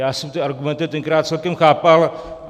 Já jsem ty argumenty tenkrát celkem chápal.